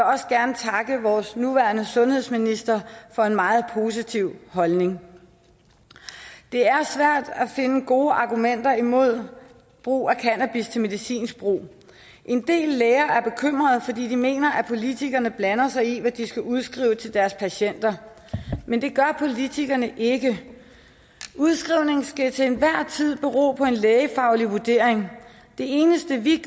også gerne takke vores nuværende sundhedsminister for en meget positiv holdning det er svært at finde gode argumenter imod brug af cannabis til medicinsk brug en del læger er bekymret fordi de mener at politikerne blander sig i hvad de skal udskrive til deres patienter men det gør politikerne ikke udskrivning skal til enhver tid bero på en lægefaglig vurdering det eneste vi